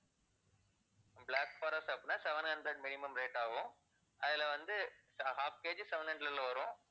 black forest அப்படின்னா seven hundred minimum rate ஆகும். அதுல வந்து ha~ half KG seven hundred ல வரும்.